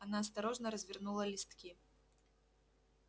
она осторожно развернула листки